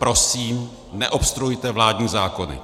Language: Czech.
Prosím, neobstruujte vládní zákony.